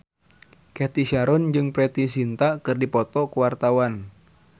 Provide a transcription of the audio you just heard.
Cathy Sharon jeung Preity Zinta keur dipoto ku wartawan